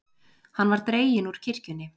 Hann var dreginn úr kirkjunni.